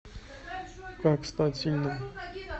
как стать сильным